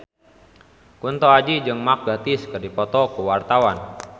Kunto Aji jeung Mark Gatiss keur dipoto ku wartawan